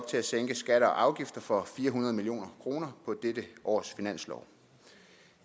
til at sænke skatter og afgifter for fire hundrede million kroner på dette års finanslov